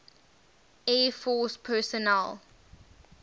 air force personnel